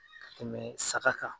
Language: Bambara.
Ka tɛmɛn saga kan